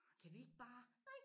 Ej kan vi ikke bare nej